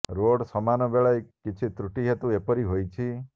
road ସମାନ ବେଳେ କିଛି ତ୍ରୁଟି ହେତୁ ଏପରି ହୋଇଛି